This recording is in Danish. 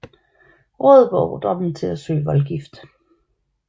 Rådet beordrede dem til at søge voldgift